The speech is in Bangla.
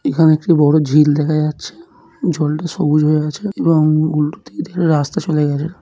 এখানে একটি বড় ঝিল দেখা যাচ্ছেজলটা সবুজ হয়ে আছে এবং উল্টোদিকে রাস্তা চলে গেছে।